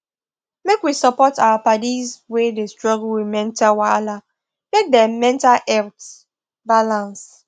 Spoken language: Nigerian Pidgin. make we support our paddis wey dey struggle with mental wahala make dem mental health balance